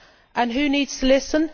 And who needs to listen?